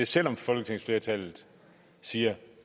selv om folketingsflertallet siger